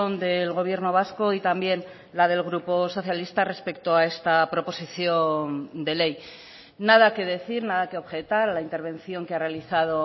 del gobierno vasco y también la del grupo socialista respecto a esta proposición de ley nada que decir nada que objetar a la intervención que ha realizado